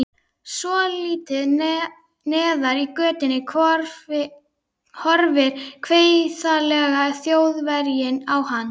Svolítið neðar í götunni horfir kveifarlegi Þjóðverjinn á hana.